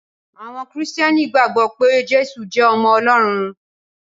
Àwọn Kristiani gbàgbó pé Jésù jé ọmọ Olórun.